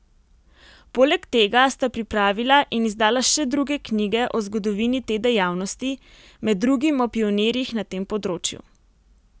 Poleg tega sta pripravila in izdala še druge knjige o zgodovini te dejavnosti, med drugim o pionirjih na tem področju.